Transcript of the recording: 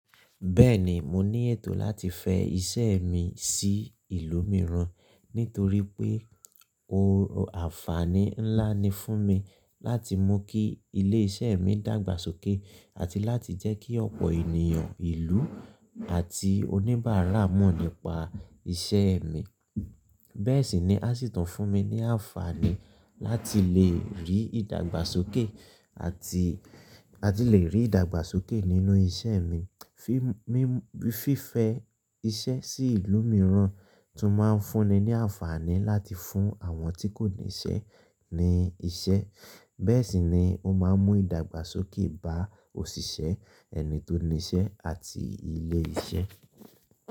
Bẹ́ẹ̀ni, mo ní ètò láti fẹ iṣẹ́ mi sí ìlú mìíràn, nítorí pé ó àfààní ńlá ni fún mi láti mú kí ilé-iṣẹ́ mi dàgbàsókè àti láti jẹ́kí ọ̀pọ̀ ènìyàn ìlú àti oníbàárà mọ̀ nípa iṣẹ́ mi. Bẹ́ẹ̀ sì ni a sì tún fún mi ní àfààní láti lè rí ìdàgbàsókè àti, a ti lè rí ìdàgbàsókè nínú iṣẹ́ mi. Fí, mí fífẹ iṣẹ́ sí ìlú mìíràn tún máa ń fún ni ní àfààní láti fún àwọn tí kò níṣẹ́ ní iṣẹ́. Bẹ́ẹ̀ sì ni ó máa ń mú ìdàgbàsókè bá òṣìṣẹ́, ẹni tó níṣẹ́ àti ilé iṣẹ́.